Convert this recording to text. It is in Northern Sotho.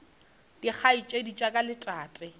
dikgaetšedi tša ka le tate